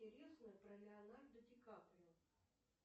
интересное про леонардо ди каприо